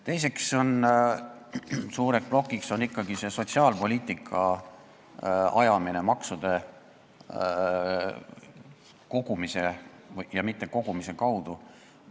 Teine suur teemaplokk on ikkagi sotsiaalpoliitika ajamine maksude kogumise ja mittekogumise kaudu.